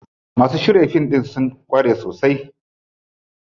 Masu shirya fim ɗin sun ƙware sosai.